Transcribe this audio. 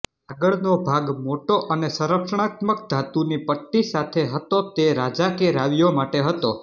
આગળનો ભાગ મોટો અને સંરક્ષણાત્મક ધાતુની પટ્ટી સાથે હતો તે રાજા કે રાવીઓ માટે હતો